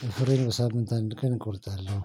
ጥፍሬን በሳምንት አንድ ቀን እቆርጣለሁ።